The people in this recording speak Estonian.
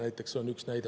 See on üks näide.